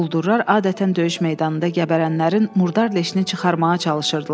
Quldurlar adətən döyüş meydanında gəbərənlərin murdar leşini çıxarmağa çalışırdılar.